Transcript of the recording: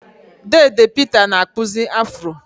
Deede Peter na-akpụzi Afro.